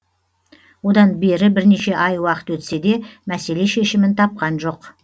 одан бері бірнеше ай уақыт өтсе де мәселе шешімін тапқан жоқ